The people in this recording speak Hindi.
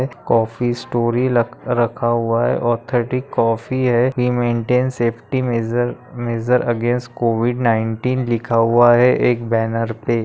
कॉफी स्टोरी लख रखा हुआ है ऑथेटिक कॉफी है maintain safety measure measure against COVID nineteen लिखा हुआ है एक बैनर पे।